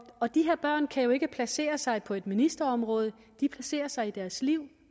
og de her børn kan jo ikke placere sig på et ministerområde de placerer sig i deres liv